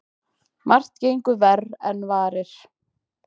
Margt gengur verr en varir.